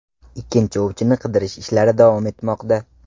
Ikkinchi ovchini qidirish ishlari davom etmoqda.